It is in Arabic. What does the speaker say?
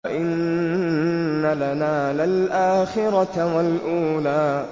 وَإِنَّ لَنَا لَلْآخِرَةَ وَالْأُولَىٰ